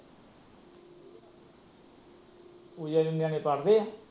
ਪੂਜਾ ਦੇ ਨਿਆਣੇ ਪੜ੍ਹਦੇ ਆ।